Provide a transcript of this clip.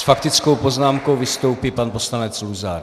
S faktickou poznámkou vystoupí pan poslanec Luzar.